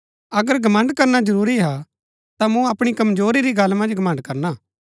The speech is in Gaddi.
अगर घमण्ड़ करना जरूरी हा ता मूँ अपणी कमजोरी री गल्ला पुर घमण्ड़ करणा